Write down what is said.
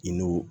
I n'o